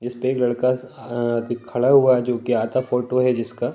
इस पे एक लड़का अ ति खड़ा हुआ है जो कि आधा फोटो है जिसका।